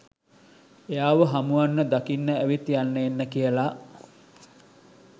එයාව හමුවන්න දකින්න ඇවිත් යන්න එන්න කියලා